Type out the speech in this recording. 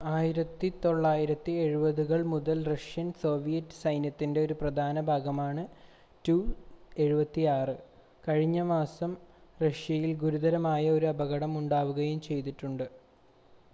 1970-കൾ മുതൽ Russian Soviet സൈന്യത്തിൻ്റെ ഒരു പ്രധാന ഭാഗമാണ് il-76 കഴിഞ്ഞ മാസം റഷ്യയിൽ ഗുരുതരമായ ഒരു അപകടം ഉണ്ടാവുകയും ചെയ്തിട്ടുണ്ട്